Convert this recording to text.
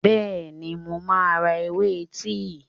Bẹ́ẹ̀ni, mo máa ra ewé tíì.